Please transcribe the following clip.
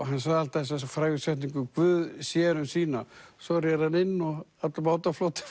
hann sagði alltaf þessa frægu setningu Guð sér um sína svo réri hann inn og allur bátaflotinn